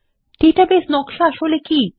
database নকশা আসলে কি